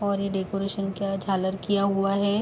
और ये डेकोरेशन किया झालर किया हुआ है।